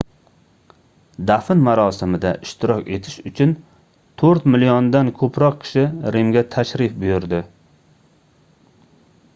dafn marosimida ishtirok etish uchun toʻrt milliondan koʻproq kishi rimga tashrif buyurdi